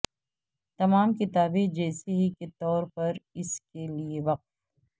تمام کتابیں جیسے ہی کے طور پر اس کے لئے وقف